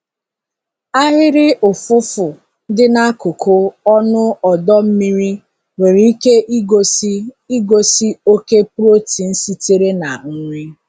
Ahịrị ụfụfụ dị n'akụkụ ọnụ ọdọ mmiri nwere ike igosi igosi oke protein sitere na nri.